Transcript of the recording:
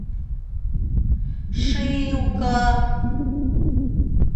шилка